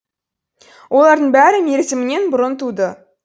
олардың бәрі мерзімінен бұрын туды